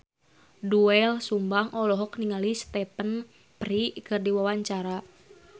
Doel Sumbang olohok ningali Stephen Fry keur diwawancara